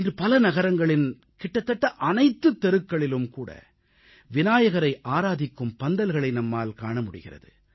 இன்று பல நகரங்களின் கிட்டத்தட்ட அனைத்துத் தெருக்களிலும் விநாயகரை ஆராதிக்கும் பந்தல்களை நம்மால் காண முடிகிறது